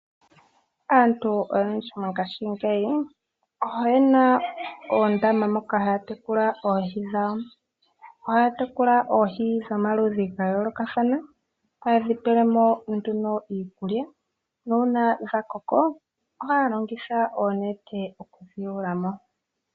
Aantu oyendji mongaashingeyi oye na oondama moka haa tekula oohi dhawo. Ohaa tekula oohi dhomaludhi ga yoolokathana , haye dhi pele mo nduno iikulya, nuuna dha koko ohaa longitha oonete oku dhi yula mo.